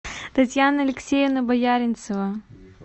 татьяна алексеевна бояринцева